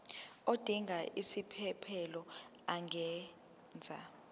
odinga isiphesphelo angenza